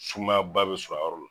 Sumaya ba bi sɔrɔ a yɔrɔ la.